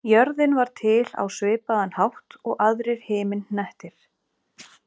Jörðin varð til á svipaðan hátt og aðrir himinhnettir.